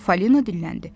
Fali dildəndi.